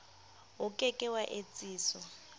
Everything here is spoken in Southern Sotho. o ke ke wa etsiswa